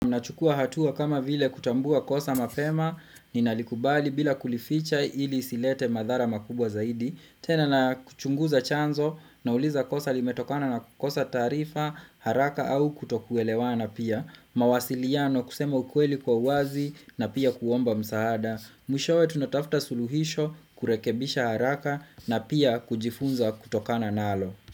Nachukua hatua kama vile kutambua kosa mapema, ninalikubali bila kulificha ili isilete madhara makubwa zaidi. Tena na kuchunguza chanzo, nauliza kosa limetokana na kukosa taarifa, haraka, au kutokuelewana pia. Mawasiliano kusema ukueli kwa uwazi na pia kuomba msaada. Mwishowe tunatafta suluhisho kurekebisha haraka na pia kujifunza kutokana nalo.